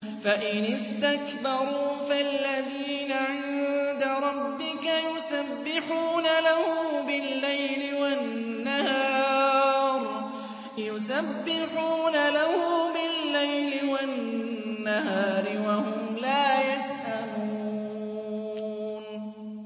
فَإِنِ اسْتَكْبَرُوا فَالَّذِينَ عِندَ رَبِّكَ يُسَبِّحُونَ لَهُ بِاللَّيْلِ وَالنَّهَارِ وَهُمْ لَا يَسْأَمُونَ ۩